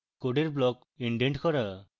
code blocks indent করা